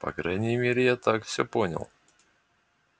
по крайней мере я так все понял